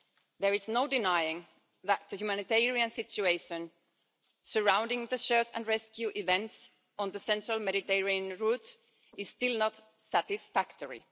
There is no denying that the humanitarian situation surrounding the search-and-rescue events on the central Mediterranean route is still not satisfactory.